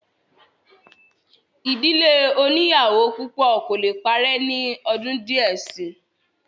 ìdílé oníyàwó púpọ̀ kò le parẹ́ ní ọdún díẹ̀ síi